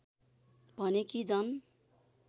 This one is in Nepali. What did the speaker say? भने कि जन